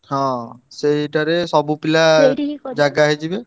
ହଁ, ସେଇଟାରେ ସବୁ ପିଲା ଜାଗା ହେଇଯିବେ।